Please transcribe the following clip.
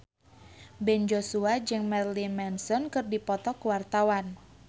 Ben Joshua jeung Marilyn Manson keur dipoto ku wartawan